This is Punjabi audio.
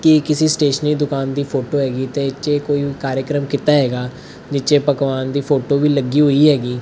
ਅਏ ਕਿਸੀ ਸਟੇਸ਼ਨਰੀ ਦੁਕਾਨ ਦੀ ਫੋਟੋ ਹੈਗੀ ਤੇ ਇੱਥੇ ਕੋਈ ਕਾਰੇਕਰਮ ਕੀਤਾ ਹੈਗਾ ਨੀਚੇ ਪਕਵਾਨ ਦੀ ਫੋਟੋ ਵੀ ਲੱਗੀ ਹੋਈ ਹੈਗੀ।